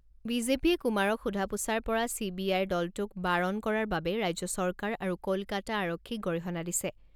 বিজেপিয়ে কুমাৰক সোধা পোছাৰ পৰা চি বি আইৰ দলটোক বাৰন কৰাৰ বাবে ৰাজ্য চৰকাৰ আৰু ক'লকাতা আৰক্ষীক গৰিহণা দিছে।